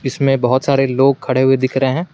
इसमें बहोत सारे लोग खड़े हुए दिख रहे हैं।